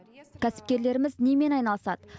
кәсіпкерлеріміз немен айналысады